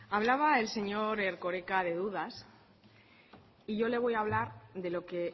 hablaba el señor erkoreka de dudas y yo le voy a hablar de lo que